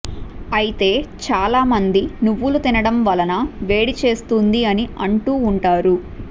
అయితే చాలామంది నువ్వులు తినడం వలన వేడి చేస్తుంది అని అంటూ ఉంటారు